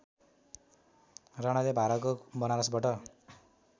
राणाले भारतको बनारसबाट